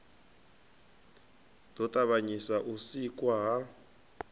ḓo ṱavhanyisa u sikwa ha